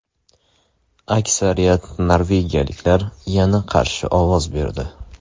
Aksariyat norvegiyaliklar yana qarshi ovoz berdi.